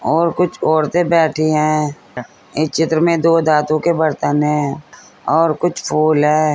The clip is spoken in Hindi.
और कुछ और से बैठी हैं इस चित्र में दो धातु के बर्तन है और कुछ फूल है।